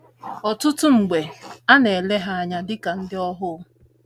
Ọtụtụ mgbe, a na - ele ha anya dị ka ndị ohu.